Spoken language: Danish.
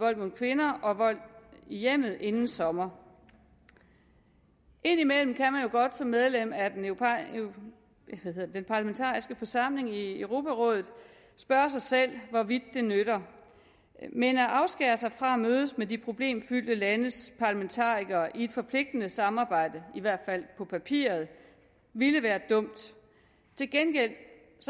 vold mod kvinder og vold i hjemmet inden sommer indimellem kan man jo godt som medlem af den parlamentariske forsamling i europarådet spørge sig selv hvorvidt det nytter men at afskære sig fra at mødes med de problemfyldte landes parlamentarikere i et forpligtende samarbejde i hvert fald på papiret ville være dumt til gengæld